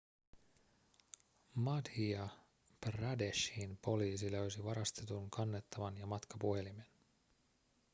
madhya pradeshin poliisi löysi varastetun kannettavan ja matkapuhelimen